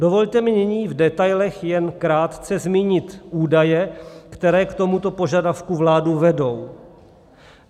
Dovolte mi nyní v detailech jen krátce zmínit údaje, které k tomuto požadavku vládu vedou.